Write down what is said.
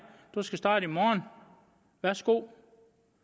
du skal starte i morgen værsgo